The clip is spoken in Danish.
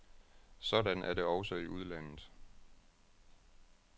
Sådan er det også i udlandet.